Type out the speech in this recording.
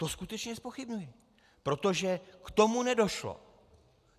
To skutečně zpochybňuji, protože k tomu nedošlo.